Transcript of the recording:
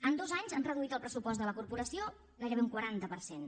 en dos anys han reduït el pressupost de la corporació gairebé un quaranta per cent